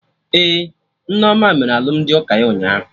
Ee, Nneoma mere alụmdi ụka ya ụnyaahụ